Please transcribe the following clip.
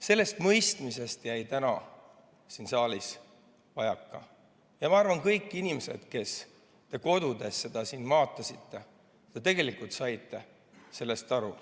Sellest mõistmisest jäi täna siin saalis vajaka ja ma arvan, et kõik inimesed, kes te kodudes seda vaatasite, saite sellest aru.